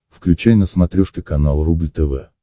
включай на смотрешке канал рубль тв